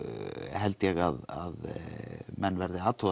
held ég að menn verði að athuga